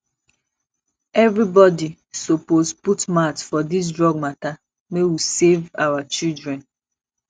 everybodi suppose put mouth for dis drug mata make we save our children